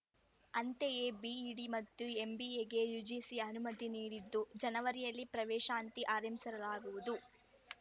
ಅಂತೆಯೇ ಬಿಇಡಿ ಮತ್ತು ಎಂಬಿಎಗೆ ಯುಜಿಸಿ ಅನುಮತಿ ನೀಡಿದ್ದು ಜನವರಿಯಲ್ಲಿ ಪ್ರವೇಶ ಅಂತಿ ಆರಂಭಿಸಲಾಗುವುದು